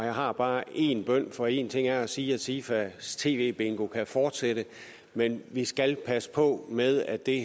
har bare en bøn for én ting er at sige at sifa tv bingo kan fortsætte men vi skal passe på med at det